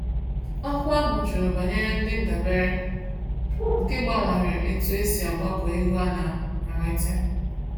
Akwụkwọ ahụ jụrụ banyere ndị ndabere, nke gbanwere etu e si agbakọ ego a na-enwete.